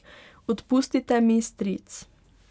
Odpustite mi, stric.